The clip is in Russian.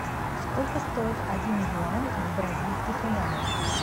сколько стоит один юань в бразильских реалах